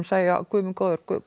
segja guð minn góður